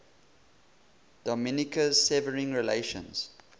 dominica's severing relations